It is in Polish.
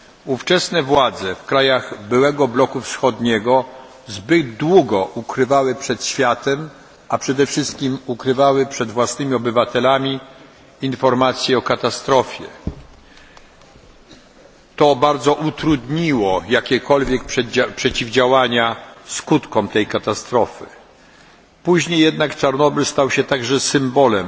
Ówczesne władze krajów byłego bloku wschodniego zbyt długo ukrywały przed światem, a przede wszystkim przed własnymi obywatelami, informacje o katastrofie. Bardzo to utrudniło jakiekolwiek działania zapobiegające skutkom tej katastrofy. Później jednak Czarnobyl stał się symbolem